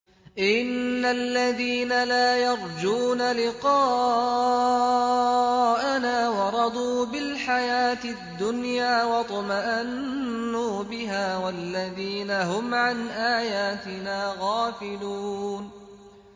إِنَّ الَّذِينَ لَا يَرْجُونَ لِقَاءَنَا وَرَضُوا بِالْحَيَاةِ الدُّنْيَا وَاطْمَأَنُّوا بِهَا وَالَّذِينَ هُمْ عَنْ آيَاتِنَا غَافِلُونَ